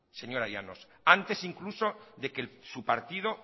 señora llanos antes incluso de que su partido